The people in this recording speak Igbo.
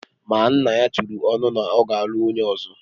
Ma nna ya turu ọnụ na ọ ga-alụ nwunye ọzọ